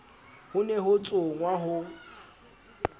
ho ne ho tsongwa ho